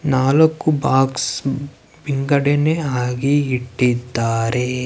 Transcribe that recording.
ನಾಲಕ್ಕು ಬಾಕ್ಸ್ ವಿಂಗಡೆನೆ ಆಗಿ ಇಟ್ಟಿದ್ದಾರೇ.